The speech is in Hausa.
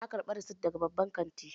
Na ƙarbi rasit daga babban kanti